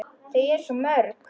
Þau eru svo mörg.